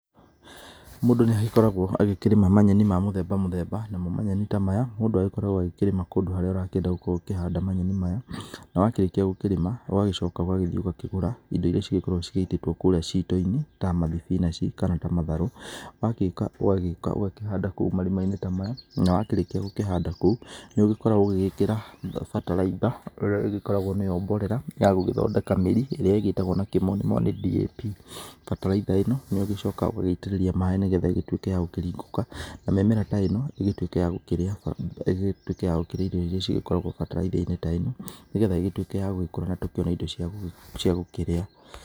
Mũndũ nĩ agĩkoragwo agĩkĩrĩma manyeni ma mũthemba mũthemba namo manyeni ta maya mũndũ agĩkoragwo agĩkĩrĩma kũndũ kũrĩa ũrakĩenda gũkorwo ũkĩhanda manyeni maya. Na wakĩrĩkia gũkĩrĩma ũgagĩcoka ũgagĩthĩĩ ũkagũra ĩndo ĩria cikoragwo cigĩitĩtwo kũrĩa tuto-inĩ ta mathibinanjĩ kana ta matharũ, ũgagĩũka ũgakĩhanda kũu marima-inĩ ta maya na wakĩrĩkia gũkĩhanda nĩ ũgĩkoragwo ũgĩgĩkĩra bataraitha ĩrĩa ĩgĩkoragwo nĩyo mborera ya gũthondeka mĩri ĩrĩa ĩgĩtagwo na kĩmonimoni DAP. Bataraitha ĩno nĩ ũgĩcokaga ũgagĩitĩrĩria maĩ nĩgetha ĩgĩtuĩke ya gũkĩringũka na mĩmera ta ĩno ĩgĩtuĩke ya gũkĩrĩa ĩndo ĩria cĩgĩkoragwo bataraitha-inĩ ta ĩno nĩgetha ĩgĩtuĩke ya gũgĩkũra na tũkĩone ĩndo cia gũkĩrĩa.